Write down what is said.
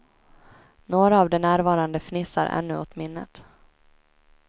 Några av de närvarande fnissar ännu åt minnet.